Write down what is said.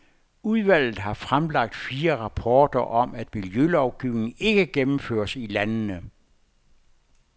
Udvalget har fremlagt fire rapporter om, at miljølovgivningen ikke gennemføres i landene.